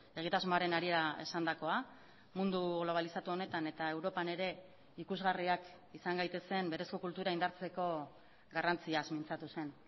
egitasmoaren harira esandakoa mundu globalizatu honetan eta europan ere ikusgarriak izan gaitezen berezko kultura indartzeko garrantziaz mintzatu zen